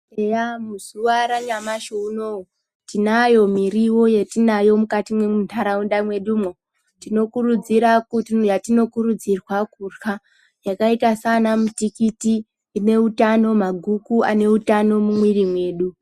Eya , muzuva ranyamashi uno uyu, tinayo miriwo yetinayo mukati mentaraunda mwedumo. Tinokurudzirwa kurya yakaita saana mutikiti ineutano, maguku aneutano mumwiri medu.